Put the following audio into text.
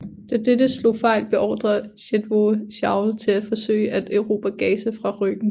Da dette slog fejl beordrede Chetwode Chauvel til at forsøge at erobre Gaza fra ryggen